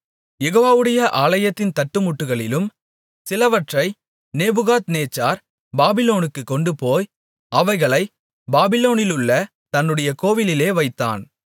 யெகோவாவுடைய ஆலயத்தின் தட்டுமுட்டுகளிலும் சிலவற்றை நேபுகாத்நேச்சார் பாபிலோனுக்குக் கொண்டுபோய் அவைகளை பாபிலோனிலுள்ள தன்னுடைய கோவிலிலே வைத்தான்